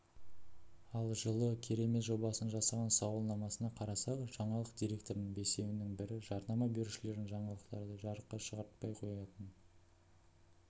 ал жылы керемет жобасының жасаған сауалнамасына қарасақ жаңалық директорының бесеуінің бірі жарнама берушілердің жаңалықтарды жарыққа шығартпай қоятын